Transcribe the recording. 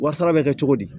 Wa sara bɛ kɛ cogo di